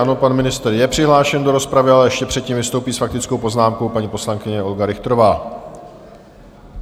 Ano, pan ministr je přihlášen do rozpravy, ale ještě předtím vystoupí s faktickou poznámkou paní poslankyně Olga Richterová.